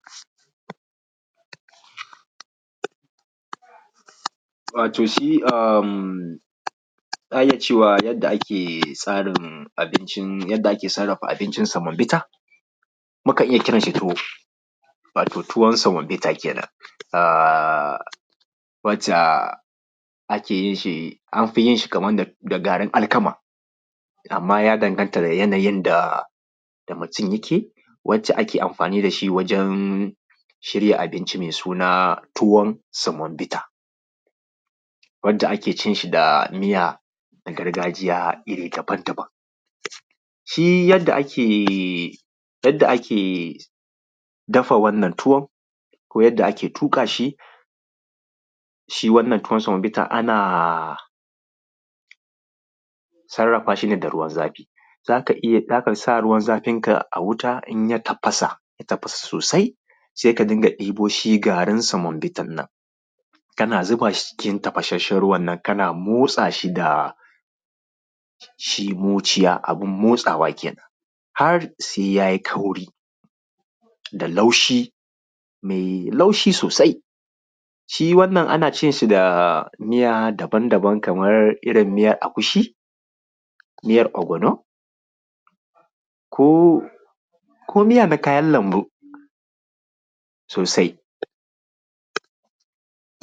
wato shi emmm za a iya cewa yadda ake tsarin abincin yadda ake sarrafa abincin semovita mukan iya kiran shi tuwo wato tuwon semovita kenan wace ake yin shi anfi yin shi da garin alkama amman ya danganta da yanayin da mutum yake wace ake amfani dashi wajen shirya abinci mai suna tuwon semovita wace ake cin shi da miyar gargajiya iri daban-daban shi yadda ake dafa wannan tuwon ko yanda ake tuƙa shi shi wannan tuwon semovita ana sarrafa shi ne da ruwan zafi zaka sa ruwan zafin ka a wuta in ya tafasa sosai sai ka ringa ɗibo shi garin semovita nan kana zuba shi cikin tafasashen ruwan nan kana motsa shi da shi muciya abun da ake motsawa kenan har sai yayi kauri da laushi mai laushi sosai shi wannan ana cin shi da miya daban-daban kamar irin miyar agushi miyar ogbono ko miya na kayan lambu sosai